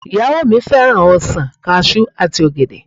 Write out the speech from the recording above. Ìyàwó mi fẹ́ràn ọsàn, Kajú àti ọ̀gẹ̀dẹ̀